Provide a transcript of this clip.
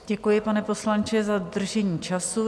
Děkuji, pane poslanče, za dodržení času.